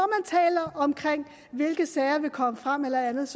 taler om hvilke sager der vil komme frem eller andet